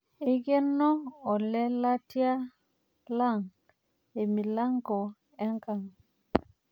Eikeno olelatia lang' emilango enkamg'.